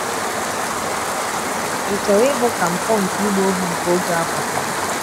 Ị̀ chọrọ ịhụ ka mpụ nke ịgba ohu nke oge a kwụsịrị?